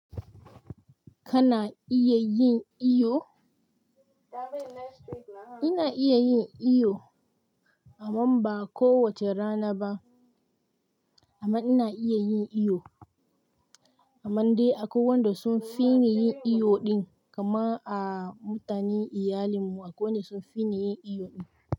Kana iya yin iyo? Ina iya yin iyo amma ba kowace rana ba. Amma ina iya yin iyo. Amma dai akwai wanda sunfi ni yin iyo ɗin kamar dai mutane iyalin mu akwai wanda sunfi mu yin iyo ɗin.